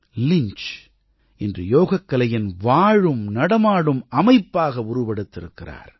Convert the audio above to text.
Lynch இன்று யோகக்கலையின் வாழும் நடமாடும் அமைப்பாக உருவெடுத்திருக்கிறார்